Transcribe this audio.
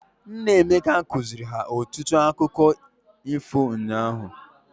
Nna Emeka kụziri ha otu akụkkọ ifo unyaahụ.